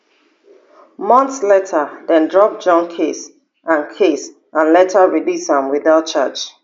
months later dem drop john case and case and later release am without charge